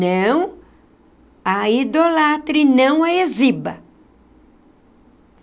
Não a idolatre, não a exiba.